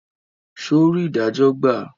Ṣe ò rí idajo gba?